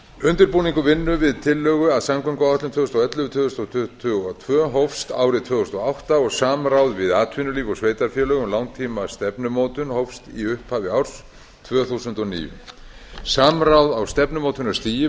undirbúningur vinnu við tillögu að samgönguáætlun tvö þúsund og ellefu til tvö þúsund tuttugu og tvö hófst árið tvö þúsund og átta og samráð við atvinnulíf og sveitarfélög um langtímastefnumótun hófst í upphafi árs tvö þúsund og níu samráð á stefnumótunarstigi